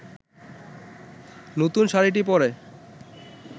নতুন শাড়িটি পরে